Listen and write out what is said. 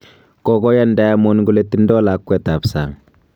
Kogoyaan Diamond kole tindo lakwet ab sang'.